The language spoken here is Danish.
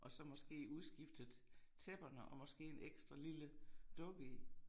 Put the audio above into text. Og så måske udskiftet tæpperne og måske en ekstra lille dukke i